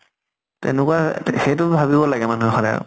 তেনেকুৱা সেইটো ভাবিব লাগে মানুহে সদায়